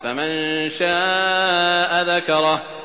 فَمَن شَاءَ ذَكَرَهُ